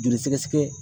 Joli sɛgɛsɛgɛ